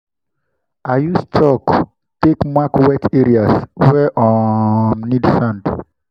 i use chalk take mark wet areas wey um need sand.